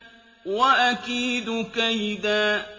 وَأَكِيدُ كَيْدًا